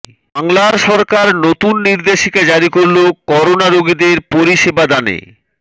বাংলার সরকার নতুন নির্দেশিকা জারি করল করোনা রোগীদের পরিষেবাদানে